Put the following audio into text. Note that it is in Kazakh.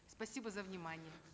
спасибо за внимание